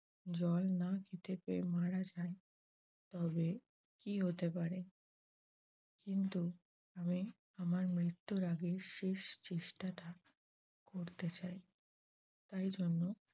জল না খেতে পেয়ে মারা যাই তবে কী হতে পারে? কিন্তু আমি আমার মৃত্যুর আগে শেষ চেষ্টা টা করতে চাই। তাই জন্য